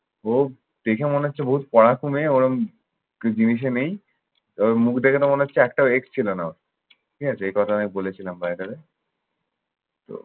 Okay দেখে মনে হচ্ছে বহুত মেয়ে ওরকম নেই। ওর মুখ দেখতো মনে হচ্ছে একটাও ex ছিল না। ঠিক আছে এ কথা আমি বলেছিলাম by the way তো